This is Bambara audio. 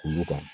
Olu kan